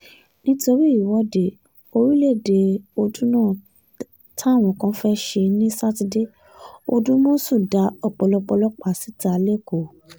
nítorí ìwọ́de um orílẹ̀‐èdè ọdúnà táwọn kan fẹ́ẹ́ um ṣe ní sátidé òdùmọ̀sù dá ọ̀pọ̀lọpọ̀ ọlọ́pàá síta lẹ́kọ̀ọ́